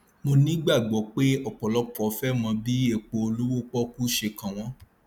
mo nígbàgbọ pé ọpọlọpọ fẹ mọ bí epo olówó pọkú ṣe kàn wọn